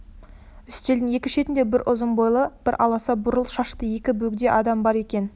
үстелдің екі шетінде бірі ұзын бойлы бірі аласа бурыл шашты екі бөгде адам бар екен